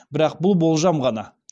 бірақ бұл болжам ғана